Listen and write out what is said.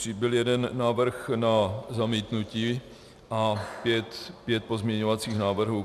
Přibyl jeden návrh na zamítnutí a pět pozměňovacích návrhů.